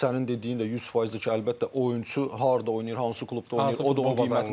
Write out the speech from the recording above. Sənin dediyin də 100%dir ki, əlbəttə oyunçu harda oynayır, hansı klubda oynayır, o da onun qiymətini.